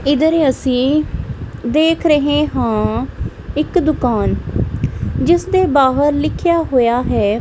ਇਧਰ ਅਸੀਂ ਦੇਖ ਰਹੇ ਹਾਂ ਇੱਕ ਦੁਕਾਨ ਜਿਸਦੇ ਬਾਹਰ ਲਿਖਿਆ ਹੋਇਆ ਹੈ।